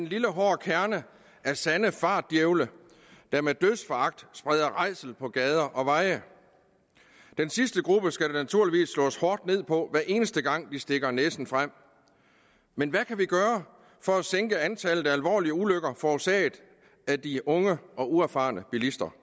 lille hård kerne af sande fartdjævle der med dødsforagt spreder rædsel på gader og veje den sidste gruppe skal der naturligvis slås hårdt ned på hver eneste gang de stikker næsen frem men hvad kan vi gøre for at sænke antallet af alvorlige ulykker forårsaget af de unge og uerfarne bilister